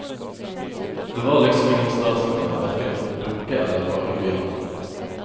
Det var liksom ingen stas lenger, verken med dukke eller fargeblyanter.